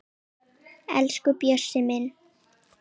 Elsku Bjössi minn.